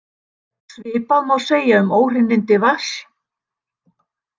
Svipað má segja um óhreinindi vatns.